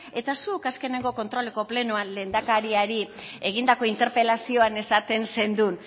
eta zuk azkeneko kontroleko plenoan lehendakariari egindako interpelazioan esaten zenuen